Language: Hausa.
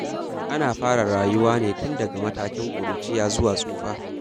Ana fara rayuwa ne tun daga matakin ƙuruciya zuwa tsufa.